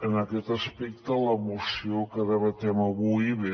en aquest aspecte la moció que debatem avui ve